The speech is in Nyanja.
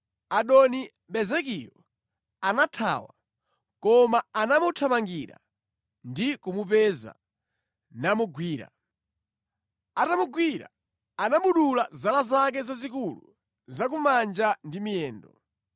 Adoni-Bezekiyo anathawa, koma anamuthamangira ndi kumupeza, namugwira. Atamugwira anamudula zala zake zazikulu za ku manja ndi miyendo.